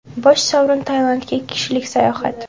Bosh sovrin Tailandga ikki kishilik sayohat!